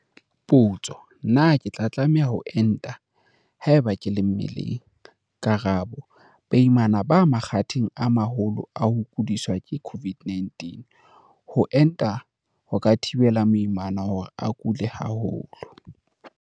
Potso- Na ke tlameha ho enta haeba ke le mmeleng? Karabo- Baimana ba makgatheng a maholo a ho kudiswa ke COVID-19. Ho enta ho ka thibela moimana hore a kule haholo.